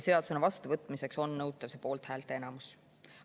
Seadusena vastuvõtmiseks on nõutav poolthäälte enamus.